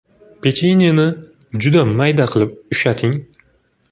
Pechenyeni juda mayda qilib ushating.